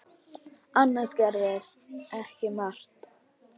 Annars gerðist ekki margt.